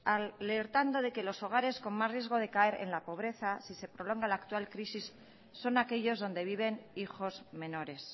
alertando de que los hogares con más riesgo de caer en la pobreza si se prolonga la actual crisis son aquellos donde viven hijos menores